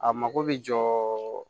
A mako bɛ jɔ